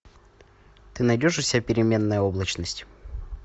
ты найдешь у себя переменная облачность